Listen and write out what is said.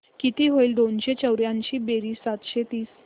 किती होईल दोनशे चौर्याऐंशी बेरीज सातशे तीस